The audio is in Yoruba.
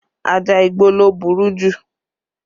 Ajá igbó ló burú jù